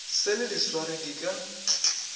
se le diswari di ka